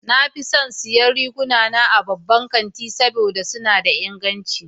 Na fi son siyan riguna na daga babban kanti saboda suna da inganci sosai.